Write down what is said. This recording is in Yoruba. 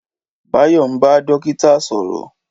Báyọ̀ ń bá dókítà sọ̀rọ̀.